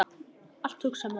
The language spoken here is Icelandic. Allt, hugsar maður.